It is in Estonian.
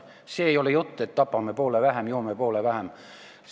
See ei ole jutt, et nii tapame poole vähem, kui joome poole vähem.